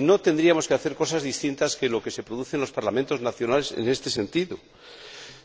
Y no tendríamos que hacer cosas distintas de lo que se produce en los Parlamentos nacionales en este sentido.